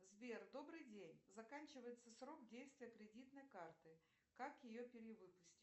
сбер добрый день заканчивается срок действия кредитной карты как ее перевыпустить